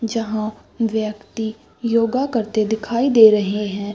जहाँ व्यक्ति योगा करते दिखाई दे रहें हैं।